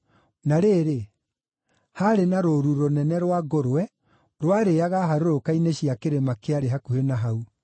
Na rĩrĩ, haarĩ na rũũru rũnene rwa ngũrwe rwarĩĩaga harũrũka-inĩ cia kĩrĩma kĩarĩ hakuhĩ na hau.